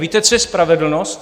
Víte, co je spravedlnost?